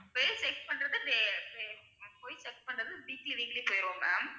check பண்ணறது வே~ வே~ அங்க போய் check பண்ணறது weekly weekly போயிருவோம் ma'am